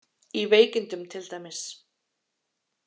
Í veikindum til dæmis.